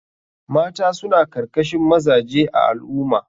Mata suna karkashin mazaje a al ummah.